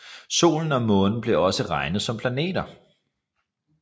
Solen og Månen blev også regnet som planeter